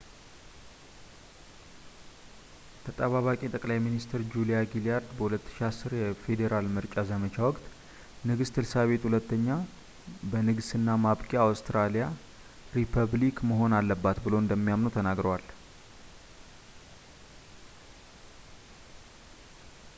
ተጠባባቂ ጠቅላይ ሚኒስትር ጁሊያ ጊላርድ በ 2010 የፌዴራል ምርጫ ዘመቻ ወቅት ንግስት ኤልሳቤጥ ii በንግሥና ማብቂያ አውስትራሊያ ሪፐብሊክ መሆን አለባት ብለው እንደሚያምኑ ተናግረዋል